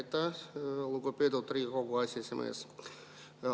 Aitäh, lugupeetud Riigikogu aseesimees!